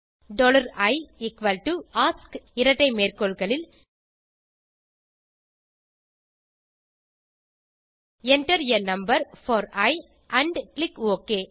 i ask இரட்டை மேற்கோள்களில் enter a number for e and click okay